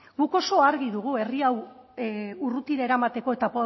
guk oso argi dugu herri hau urrutira eramateko eta